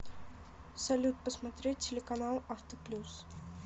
салют посмотреть телеканал авто плюс